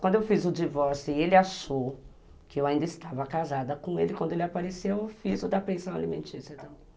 Quando eu fiz o divórcio e ele achou que eu ainda estava casada com ele, quando ele apareceu, eu fiz o da pensão alimentícia.